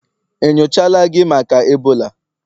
enyochala gi maka Ebola?